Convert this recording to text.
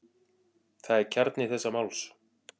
Það er kjarni þessa máls.